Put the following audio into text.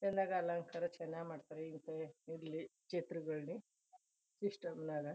ಚನ್ನಾಗ್ ಅಲಂಕಾರ ಚನ್ನಾಗ್ ಮಾಡ್ತಾರೆ ಇರ್ಲಿ ಚಿತ್ರದಲ್ಲಿ ಸಿಸ್ಟಮ್ ನಾಗ--